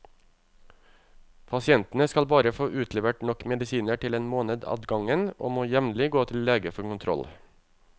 Pasientene skal bare få utlevert nok medisiner til en måned ad gangen, og må jevnlig gå til lege for kontroll.